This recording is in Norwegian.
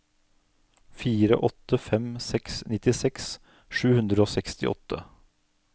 fire åtte fem seks nittiseks sju hundre og sekstiåtte